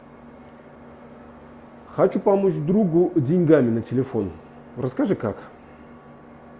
хочу помочь другу деньгами на телефон расскажи как